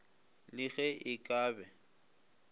le ge e ka be